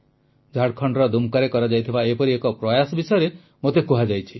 ଝାଡ଼ଖଣ୍ଡର ଦୁମ୍କାରେ କରାଯାଇଥିବା ଏପରି ଏକ ପ୍ରୟାସ ବିଷୟରେ ମୋତେ କୁହାଯାଇଛି